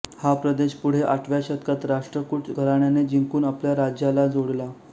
हा प्रदेश पुढे आठव्या शतकात राष्ट्रकूट घराण्याने जिंकून आपल्या राज्याला जोडला